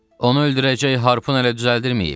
Onu öldürəcək harpın hələ düzəldirməyib.